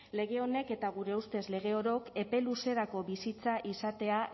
lege honek eta gure ustez lege orok epe luzerako bizitza izatea